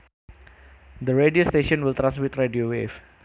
The radio station will transmit radio waves